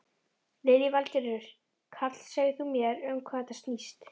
Lillý Valgerður: Karl, segð þú mér um hvað þetta snýst?